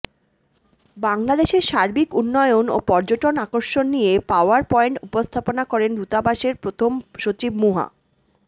বাংলাদেশের সার্বিক উন্নয়ন ও পর্যটন আকর্ষণ নিয়ে পাওয়ার পয়েন্ট উপস্থাপনা করেন দূতাবাসের প্রথম সচিব মুহা